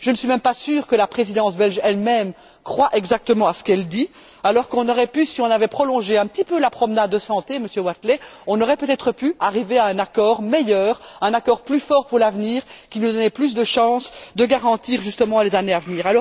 Je ne suis même pas sûre que la Présidence belge elle même croit exactement à ce qu'elle dit, alors que, si on avait prolongé un petit peu la promenade de santé, Monsieur Wathelet, on aurait peut être pu arriver à un accord meilleur, un accord plus fort pour l'avenir, qui nous donnait plus de chance de garantir justement les années à venir.